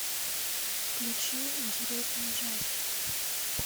включи интересный ужастик